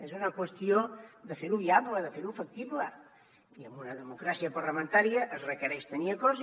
és una qüestió de fer ho viable de fer ho factible i amb una democràcia parlamentària es requereix tenir acords